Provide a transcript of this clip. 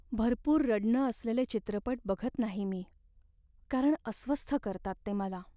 भरपूर रडणं असलेले चित्रपट बघत नाही मी कारण अस्वस्थ करतात ते मला.